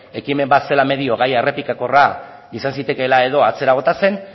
ekimen bat zela medio gaia errepikakorra izan zitekeela edo atzera bota zen